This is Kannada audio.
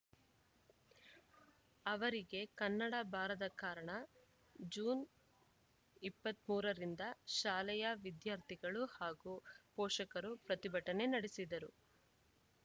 ಅವರಿಗೆ ಕನ್ನಡ ಬಾರದ ಕಾರಣ ಜುಲೈ ಇಪ್ಪತ್ತ್ ಮೂರು ರಿಂದ ಶಾಲೆಯ ವಿದ್ಯಾರ್ಥಿಗಳು ಹಾಗೂ ಪೋಷಕರು ಪ್ರತಿಭಟನೆ ನಡೆಸಿದ್ದರು